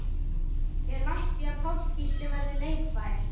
Er langt í að Páll Gísli verði leikfær?